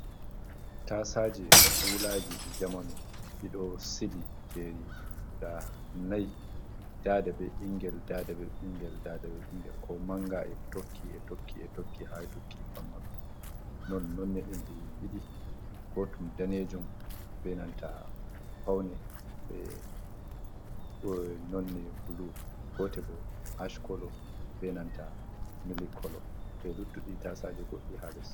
Tasaje kulaji di jamanu dido sili jeri guda nai, dada be bingel dada be bingel dada be bingel ko manga e tokkie toki e tokki ha dukki famaru non none didi danejum be nanta paune nonne blu gote bo ash kolo be nanta mili kolo be luttudi tasaje goddi hales.